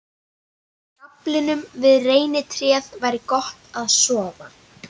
Í skaflinum við reynitréð væri gott að sofa.